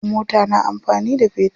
Mota na amfani da fetur.